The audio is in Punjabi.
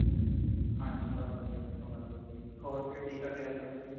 ਹਾਂਜੀ ਸਬ ਵਦੀਆਂ ,ਸਬ ਵਦੀਆਂ ਜੀ ,ਹੋਰ ਫੇਰ ਕੀ ਕਰਦੇ ਅਜ ਕਾਲ ਤੁਸੀਂ |